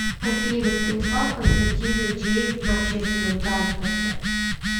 афина станислав константинович ездит на общественном транспорте